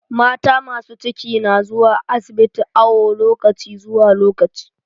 Mata masu ciki na zuwa asibiti awo lokaci zuwa lokaci.